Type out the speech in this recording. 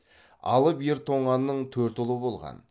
алып ер тоңаның төрт ұлы болған